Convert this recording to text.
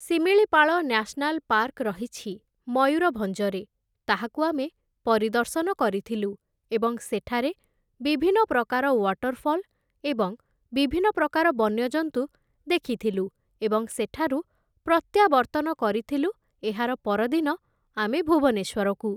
Similipal national park ରହିଛି ମୟୂରଭଞ୍ଜରେ, ତାହାକୁ ଆମେ ପରିଦର୍ଶନ କରିଥିଲୁ ଏବଂ ସେଠାରେ ବିଭିନ୍ନ ପ୍ରକାର ୱାଟରଫଲ୍ ଏବଂ ବିଭିନ୍ନ ପ୍ରକାର ବନ୍ୟଜନ୍ତୁ ଦେଖିଥିଲୁ ଏବଂ ସେଠାରୁ ପ୍ରତ୍ୟାବର୍ତ୍ତନ କରିଥିଲୁ ଏହାର ପରଦିନ ଆମେ ଭୁବନେଶ୍ୱରକୁ ।